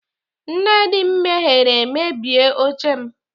Nne di m mehiere mebie oche m.